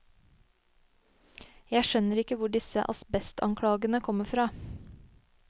Jeg skjønner ikke hvor dissse asbestanklagene kommer fra.